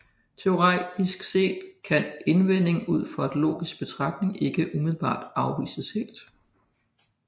Teoretisk set kan indvendingen ud fra en logisk betragtning ikke umiddelbart afvises helt